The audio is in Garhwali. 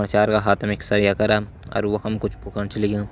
मचार का हाथ मा सरिया करं और वफुं कुछ फुकन छन लग्यां।